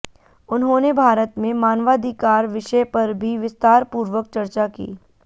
उन्होंने भारत में मानवाधिकार विषय पर भी विस्तारपूर्वक चर्चा की